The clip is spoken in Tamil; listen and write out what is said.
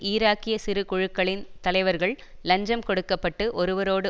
ஈராக்கிய சிறுகுழுக்களின் தலைவர்கள் இலஞ்சம் கொடுக்க பட்டு ஒருவரோடு